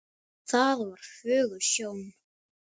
Það var fögur sjón.